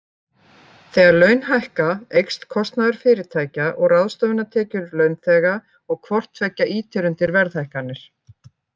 Þegar laun hækka, eykst kostnaður fyrirtækja og ráðstöfunartekjur launþega og hvort tveggja ýtir undir verðhækkanir.